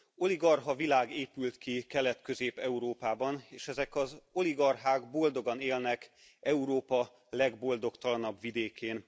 Oligarcha világ épült ki Kelet Közép Európában, és ezek az oligarchák boldogan élnek Európa legboldogtalanabb vidékén.